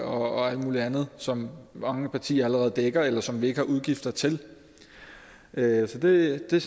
og alt mulig andet som mange partier allerede dækker eller som vi ikke har udgifter til så det er